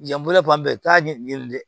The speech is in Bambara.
Yan bolila fan bɛɛ i t'a ɲɛɲini dɛ